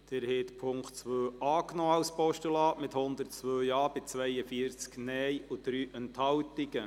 Sie haben die Ziffer 2 als Postulat angenommen, mit 102 Ja- gegen 42 Nein-Stimmen bei 3 Enthaltungen.